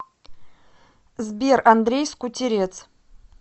сбер андрей скутерец